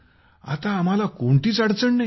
आता आम्हाला कोणतीही अडचण नाही